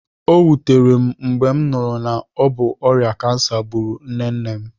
O wutere m mgbe m nụrụ na obu ọrịa kansa gburu nne nne m